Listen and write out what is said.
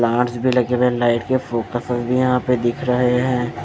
Plants भी लगे हुए लाइट के फोकस भी यहां पे दिख रहे हैं।